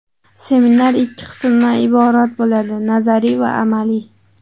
Seminar ikki qismdan iborat bo‘ladi: nazariy va amaliy.